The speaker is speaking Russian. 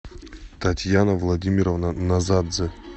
татьяна владимировна назадзе